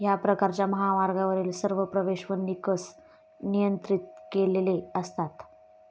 ह्या प्रकारच्या महामार्गावरील सर्व प्रवेश व निकस नियंत्रित केलेले असतात.